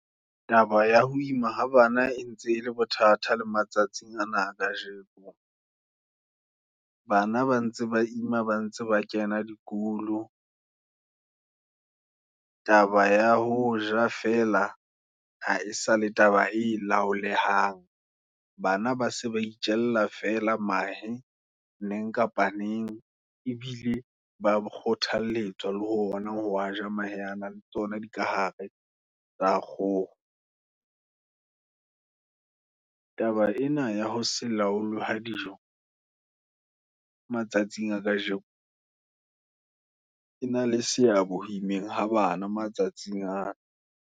Taba ya ho ima ha bana, e ntse e le bothata le matsatsing ana kajeno, bana ba ntse ba ima, ba ntse ba kena dikolo. Taba ya ho ja fela, ha e sale taba e laolehang, bana ba se ba itjella fela mahe, neng kapa neng, ebile ba ba kgothalletsa, le ona ho waja mahe ano, le tsona di kahare tsa kgoho. Taba ena ya ho se laolwe ha dijo, matsatsing a kajeno, e na le seabo ha immeng ha bana matsatsing ana.